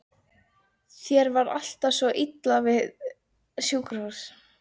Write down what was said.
Þér var alltaf svo illa við sjúkrahús.